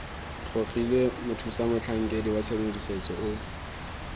gogilwe mothusamotlhankedi wa tshedimosetso o